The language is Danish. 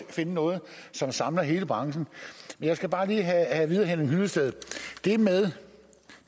finde noget som samler hele branchen jeg skal bare lige have at vide af henning hyllested